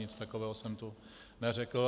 Nic takového jsem tu neřekl.